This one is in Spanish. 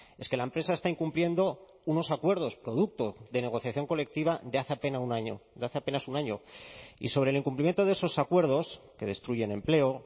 es que la empresa está incumpliendo unos acuerdos producto de negociación colectiva de hace apenas un año y sobre el incumplimiento de esos acuerdos que destruyen empleo